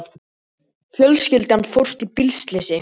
Fjölskylda fórst í bílslysi